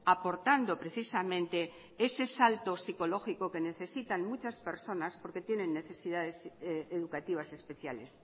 aportando precisamente ese salto psicológico que necesitan muchas personas porque tienen necesidades educativas especiales